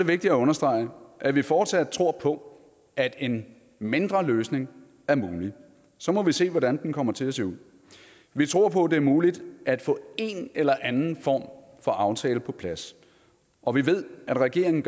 vigtigt at understrege at vi fortsat tror på at en mindre løsning er mulig så må vi se hvordan den kommer til at se ud vi tror på at det er muligt at få en eller anden form for aftale på plads og vi ved at regeringen